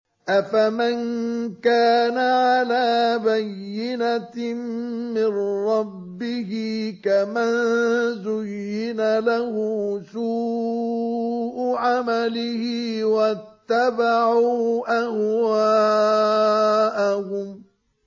أَفَمَن كَانَ عَلَىٰ بَيِّنَةٍ مِّن رَّبِّهِ كَمَن زُيِّنَ لَهُ سُوءُ عَمَلِهِ وَاتَّبَعُوا أَهْوَاءَهُم